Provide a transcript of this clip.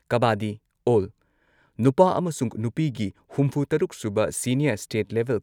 kabaddi all ꯅꯨꯄꯥ ꯑꯃꯁꯨꯡ ꯅꯨꯄꯤꯒꯤ ꯍꯨꯝꯐꯨ ꯇꯔꯨꯛ ꯁꯨꯕ ꯁꯤꯅꯤꯌꯔ ꯁ꯭ꯇꯦꯠ ꯂꯦꯚꯦꯜ